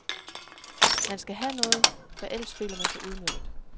Man skal have noget, for ellers føler man sig udnyttet.